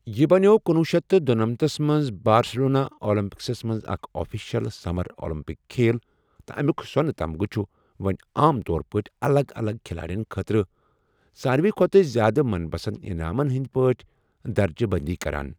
یہِ بنٮ۪و کنۄہ شیتھ تہٕ دُنمَنتھس منٛز بارسِلونا اولمپکسَس منٛز اکھ آفیشل سمر اولمپک کھیل تہٕ امیِک سونہٕ تمغہٕ چھِ وۄنۍ عام طور پٲٹھۍ الگ الگ کھلاڑٮ۪ن خٲطرٕ ساروِی کھوتہٕ زیادٕ من پسند انعامن ہنٛدۍ پٲٹھۍ درجہِ بندی کران۔